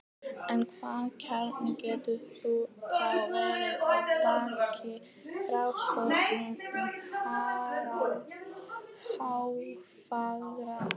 en hvaða kjarni getur þá verið að baki frásögnum um harald hárfagra